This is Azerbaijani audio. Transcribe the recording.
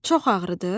Çox ağrıdır?